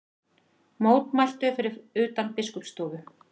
Mótmæltu fyrir utan Biskupsstofu